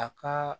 A ka